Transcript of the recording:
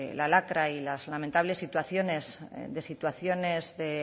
la lacra y las lamentables situaciones de